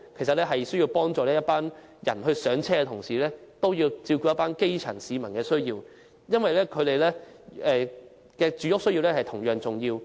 政府在幫助這些市民"上車"的同時，也要照顧基層市民的需要，因為他們的住屋需要同樣重要。